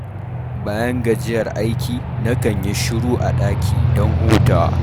Bayan gajiyar aiki, nakan yi shiru a ɗaki don hutawa.